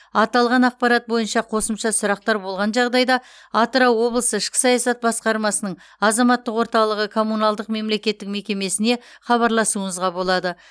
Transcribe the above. аталған ақпарат бойынша қосымша сұрақтар болған жағдайда атырау облысы ішкі саясат басқармасының азаматтық орталығы коммуналдық мемлекеттік мекемесіне хабарласуыңызға болады